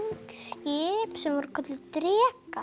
skip sem voru kölluð